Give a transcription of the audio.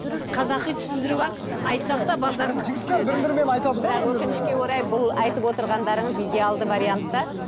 дұрыс дұрыс қазақи түсіндіріп ақ айтсақ та түсінеді бірақ өкінішке орай бұл айтып отырғандарыңыз идеалды вариант та